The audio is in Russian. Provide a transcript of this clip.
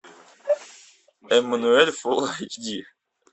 эммануэль фулл эйч ди